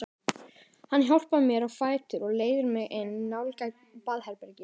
Hann hjálpar mér á fætur og leiðir mig inn í nálægt baðherbergi.